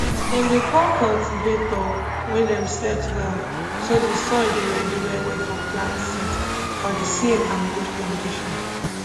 dem dey call cultivator wey dem set well so di soil dey ready well well for plant seed for di same and good condition